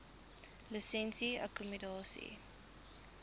lisensie akkommodasie